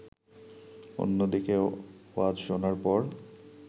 অন্যদিকে ওয়াজ শোনার পর